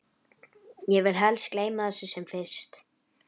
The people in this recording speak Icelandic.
Ég vil helst gleyma þessu sem fyrst.